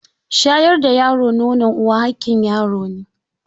Shayar da yaro nonon uwa haƙƙin yaro ne.